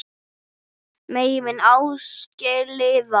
Megi minning Ásgeirs lifa.